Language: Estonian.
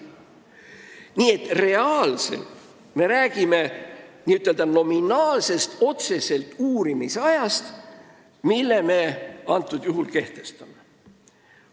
Nii et reaalselt me räägime n-ö nominaalsest, otsesest uurimisajast, mille jaoks me praegu tähtaegu kehtestame.